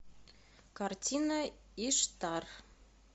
картина иштар